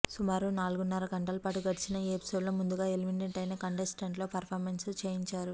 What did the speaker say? సుమారు నాలుగున్నర గంటలపాటు నడిచిన ఈ ఎపిసోడ్లో ముందుగా ఎలిమినేట్ అయిన కంటెస్టెంట్లతో పెర్ఫార్మెన్స్లు చేయించారు